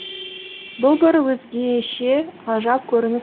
бұл бір өзгеше ғажап көрініс